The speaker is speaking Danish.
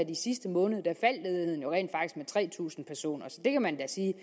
i sidste måned med tre tusind personer så det kan man da sige